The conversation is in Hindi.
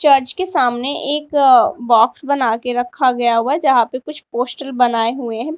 चर्च के सामने एक बॉक्स बना के रखा गया हुआ जहां पे कुछ पोस्टर बनाए हुए हैं।